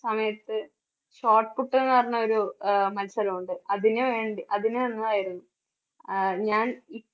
സമയത്ത് shot put എന്ന് പറഞ്ഞ ഒരു അഹ് മത്സരം ഉണ്ട് അതിന് ഞാൻ അതിന് ആഹ് ഞാൻ ഈ